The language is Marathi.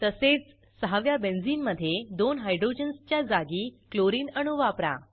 तसेच सहाव्या बेंझिनमधे दोन हायड्रोजन्सच्या जागी क्लोरिन अणू वापरा